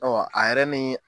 Ɔ a yɛrɛ ni.